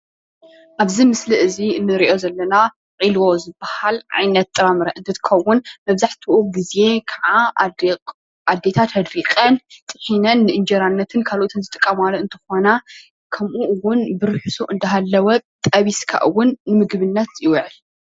ኣብዚ ምስሊ እዚ እንሪኦ ዘለና ዒልቦ ዝባሃል ዓይነት ጥራምረ እንትኸውን መብዛሕትኡ ግዜ ኻዓ ኣዴታት ኣድሪቐን ጥሒነን ንእንጀራን ካልኦትን ዝጥቀማሉ እንትኾና ከምኡ እውን ብርሕሱ እንዳሃለወ ጠቢስካ እውን ንምግብነት ይውዕል፡፡